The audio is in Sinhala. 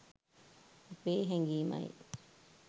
අපේ හැඟීමයි.